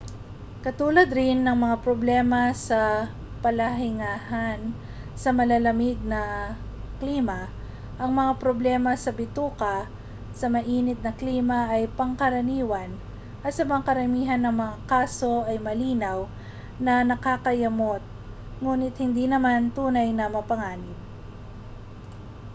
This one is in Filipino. katulad rin ng mga problema sa palahingahan sa malalamig na klima ang mga problema sa bituka sa maiinit na klima ay pangkaraniwan at sa karamihan ng mga kaso ay malinaw na nakakayamot nguni't hindi naman tunay na mapanganib